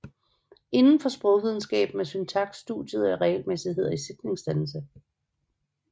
Inden for sprogvidenskaben er syntaks studiet af regelmæssigheder i sætningsdannelse